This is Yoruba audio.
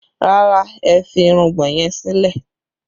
Rárá, ẹ fi irùngbọ̀n yẹn sílẹ̀